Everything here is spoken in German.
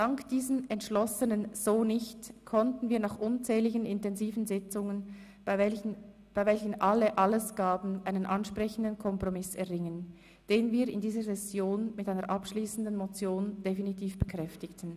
Dank diesem entschlossenen «So nicht!» konnten wir nach unzähligen intensiven Sitzungen, bei welchen alle alles gaben, einen ansprechenden Kompromiss erringen, den wir in dieser Session mit einer abschliessenden Motion definitiv bekräftigten.